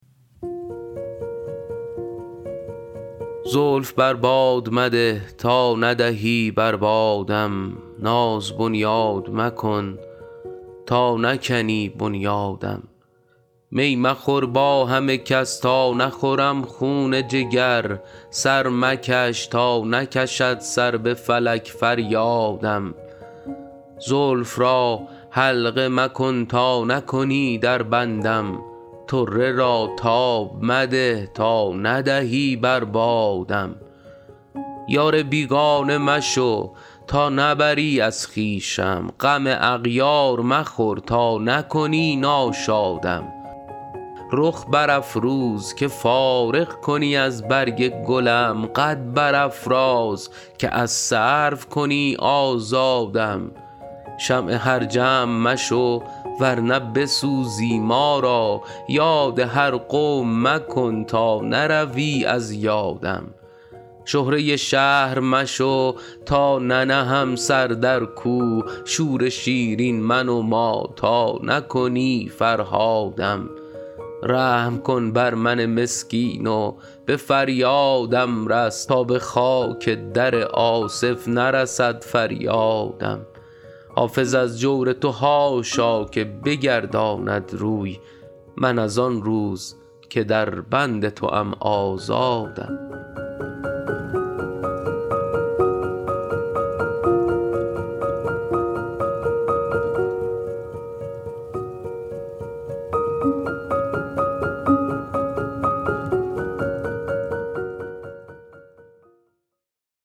زلف بر باد مده تا ندهی بر بادم ناز بنیاد مکن تا نکنی بنیادم می مخور با همه کس تا نخورم خون جگر سر مکش تا نکشد سر به فلک فریادم زلف را حلقه مکن تا نکنی در بندم طره را تاب مده تا ندهی بر بادم یار بیگانه مشو تا نبری از خویشم غم اغیار مخور تا نکنی ناشادم رخ برافروز که فارغ کنی از برگ گلم قد برافراز که از سرو کنی آزادم شمع هر جمع مشو ور نه بسوزی ما را یاد هر قوم مکن تا نروی از یادم شهره شهر مشو تا ننهم سر در کوه شور شیرین منما تا نکنی فرهادم رحم کن بر من مسکین و به فریادم رس تا به خاک در آصف نرسد فریادم حافظ از جور تو حاشا که بگرداند روی من از آن روز که در بند توام آزادم